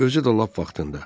Özü də lap vaxtında.